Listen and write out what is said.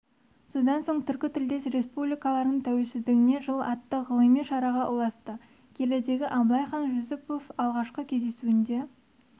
содан соң түркі тілдес республикалардың тәуелсіздігіне жыл атты ғылыми шараға ұласты келідегі абылайхан жүсіпов алғашқы кездесуінде